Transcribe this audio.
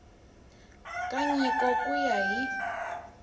ka nyiko ku ya hi